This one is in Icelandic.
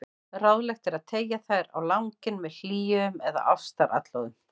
Ráðlegt er að teygja þær á langinn með hléum eða ástaratlotum.